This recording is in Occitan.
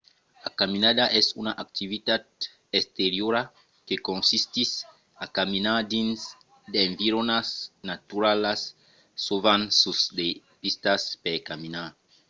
la caminada es una activitat exteriora que consistís a caminar dins d'environas naturalas sovent sus de pistas per caminar